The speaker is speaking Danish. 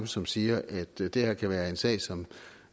som siger at det det her kan være en sag som